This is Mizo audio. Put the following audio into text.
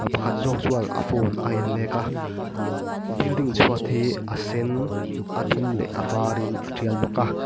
pakhat zawk chuan a phone a en mêk a building chhuat hi a sen a dum leh a var in a tial bawk a.